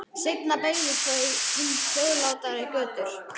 Seinna beygðu þau inn hljóðlátari götur.